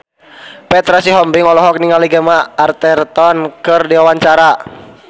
Petra Sihombing olohok ningali Gemma Arterton keur diwawancara